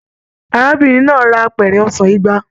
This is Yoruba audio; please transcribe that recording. Arábìnrin náà rà apẹrẹ ọsán igba.